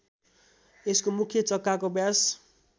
यसको मुख्य चक्काको व्यास